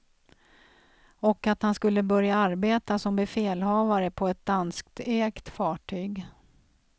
Och att han skulle börja arbeta som befälhavare på ett danskägt fartyg.